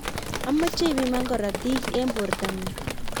amache ipiman korotik eng borto ngung